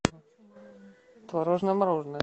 творожное мороженое